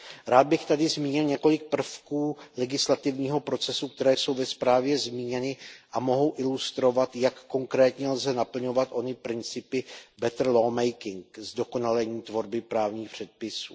Rád bych tady zmínil několik prvků legislativního procesu, které jsou ve zprávě zmíněny a mohou ilustrovat, jak konkrétně lze naplňovat ony principy better law making zdokonalení tvorby právních předpisů.